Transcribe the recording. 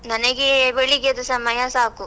ನನಗೆ ಬೆಳಿಗ್ಗೆದ್ದು ಸಮಯ ಸಾಕು.